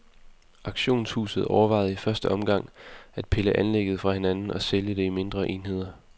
Auktionshuset overvejede i første omgang at pille anlægget fra hinanden og sælge det i mindre enheder.